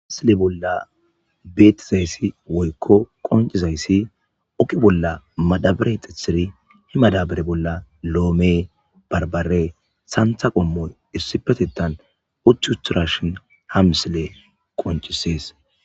Mislle bills beththizaysi oykko qonchizaysi oge bolla madabare xittizec he madabare bolla lomme,barbarenne sanththay komoy issi bolla utti uttidashen ha misille qonccises.